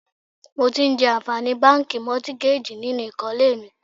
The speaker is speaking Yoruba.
Mo ti ń jẹ àǹfààní báńkì Mọ́tígájì nínú ìkólé mi.